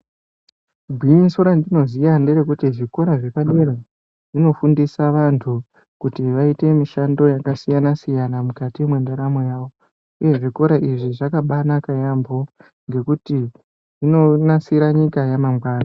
Gwinyiso randinoziya nderekuti zvikora zvepadera zvinofundisa vantu kuti vaite mishando yakasiyana-siyana mukati mwendaramo yavo uye zvikora izvi zvakabanaka yaamho ngekuti zvinonasirwa nyika yamangwani.